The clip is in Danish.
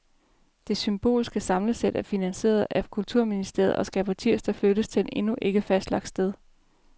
Det symbolske samlesæt er finansieret af kulturministeriet og skal på tirsdag flyttes til et endnu ikke fastlagt sted.